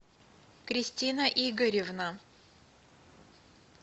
кристина игоревна